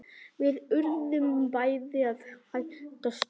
Við urðum bæði að hætta störfum.